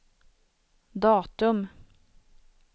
datum